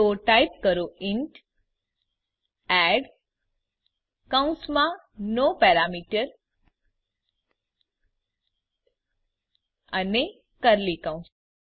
તો ટાઈપ કરો int add કૌંસમાં નો પેરામીટર અને કર્લી કૌંસ